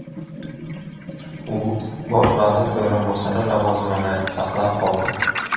U bosh vazir o‘rinbosari lavozimini saqlab qoldi.